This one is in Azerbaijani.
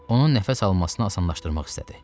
Onun nəfəs almasını asanlaşdırmaq istədi.